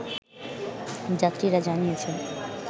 যাত্রীরা জানিয়েছেন